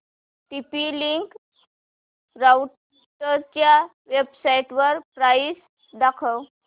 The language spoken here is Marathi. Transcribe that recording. टीपी लिंक राउटरच्या वेबसाइटवर प्राइस दाखव